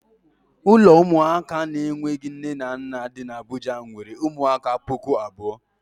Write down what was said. Ụlọ ụmụaka na-enweghi nne na nna dị n' Abuja nwere ụmụaka pụkụ abụọ.